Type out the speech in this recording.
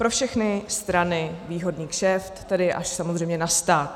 Pro všechny strany výhodný kšeft, tedy až samozřejmě na stát.